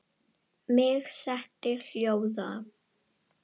Mig setti hljóða.